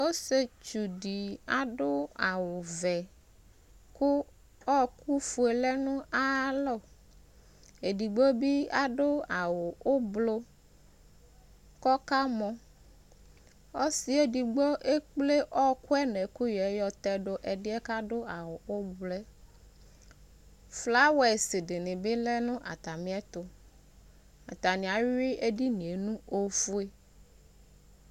Ɔsɩetsudɩ adʋ awʋvɛ, kʋ ɔɔkʋfue lɛ nʋ ayalɔ ; edigbo bɩ adʋ awʋ ʋblʋ k'ɔka mɔ Ɔsɩ edigbo ekple ɔɔkʋɛ n'ɛkʋyɛɛ yɔ tɛdʋ ɛdɩɛ k'adʋ awʋ ʋblʋɛ Flawadɩnɩ bɩ lɛ nʋ atamɩɛtʋ Atanɩ ayuɩ edinie nʋ ofue